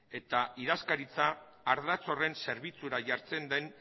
eta idazkaritza ardatz horren zerbitzura jartzen den